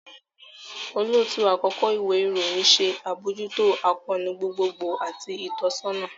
Olootu-akọkọ iwe irohin ṣe abojuto akoonu gbogbogbo ati itọsọna